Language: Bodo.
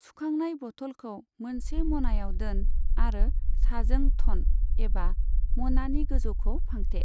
सुखांनाय बथलखौ मोनसे म'नायाव दोन आरो साजों थन एबा म'नानि गोजौखौ फांथे।